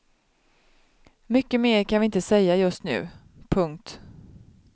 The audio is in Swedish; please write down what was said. Mycket mer kan vi inte säga just nu. punkt